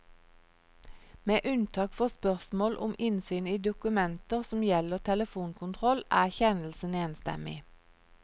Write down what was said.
Med unntak for spørsmål om innsyn i dokumenter som gjelder telefonkontroll, er kjennelsen enstemmig.